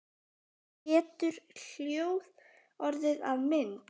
Getur hljóð orðið að mynd?